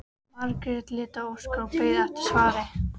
Margrét leit á Óskar og beið eftir svari.